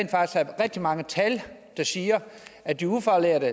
rigtig mange tal der siger at de ufaglærte